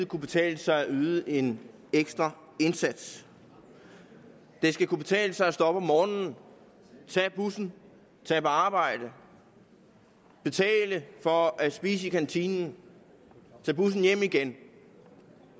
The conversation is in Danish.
kunne betale sig at yde en ekstra indsats det skal kunne betale sig at stå op om morgenen tage bussen tage på arbejde betale for at spise i kantinen tage bussen hjem igen